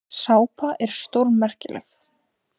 Sápa sé stórmerkileg.